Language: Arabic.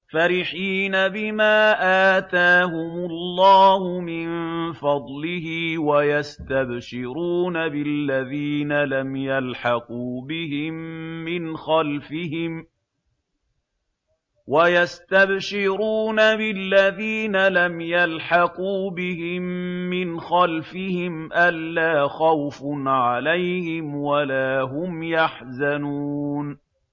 فَرِحِينَ بِمَا آتَاهُمُ اللَّهُ مِن فَضْلِهِ وَيَسْتَبْشِرُونَ بِالَّذِينَ لَمْ يَلْحَقُوا بِهِم مِّنْ خَلْفِهِمْ أَلَّا خَوْفٌ عَلَيْهِمْ وَلَا هُمْ يَحْزَنُونَ